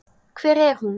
Hvar er hún?